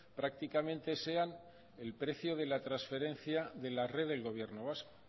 prácticamente sean el precio de la transferencia de la red del gobierno vasco